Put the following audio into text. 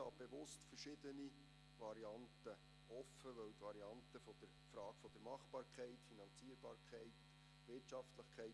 Der Präsident der GPK hat es auf den Punkt gebracht: